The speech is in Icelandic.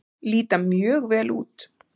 Líta mjög vel út.